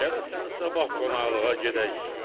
Gərəsən sabah qonaqlığa gedək.